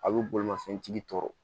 A bɛ bolimafɛntigi tɔ